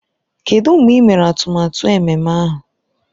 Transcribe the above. Kedụ mgbe ị mere atụmatụ ememme ahụ?